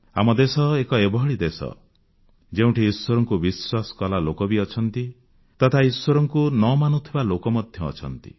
ଆମ ଦେଶ ଏକ ଏଭଳି ଦେଶ ଯେଉଁଠି ଈଶ୍ୱରଙ୍କୁ ବିଶ୍ୱାସ କଲା ଲୋକ ବି ଅଛନ୍ତି ତଥା ଈଶ୍ୱରଙ୍କୁ ନ ମାନୁଥିବା ଲୋକ ମଧ୍ୟ ଅଛନ୍ତି